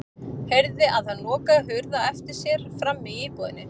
Heyrði að hann lokaði hurð á eftir sér frammi í íbúðinni.